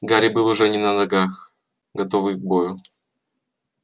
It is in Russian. гарри был уже не на ногах готовый к бою